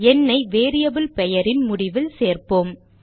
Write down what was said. எண்ணை வேரியபிள் பெயரின் முடிவில் சேர்ப்போம்